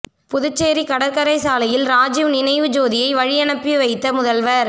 புதுச்சேரி கடற்கரை சாலையில் ராஜிவ் நினைவு ஜோதியை வழியனுப்பி வைத்த முதல்வர்